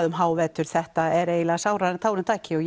um hávetur þetta er eiginlega sárara en tárum taki og